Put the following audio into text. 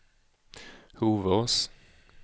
Hovås